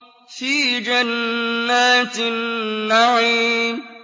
فِي جَنَّاتِ النَّعِيمِ